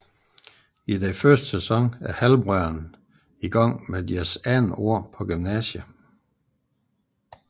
I første sæson er halvbrødrene i gang med deres andet år på gymnasiet